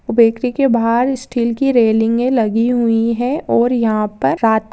वो बेकरी के बाहर स्टील की रेलिंगे लगी हुई है और यहाँ पर रात --